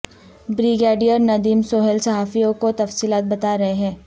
brigadier Nadeem Sohail صحافیوں کو تفصیلات بتا رہے ہیں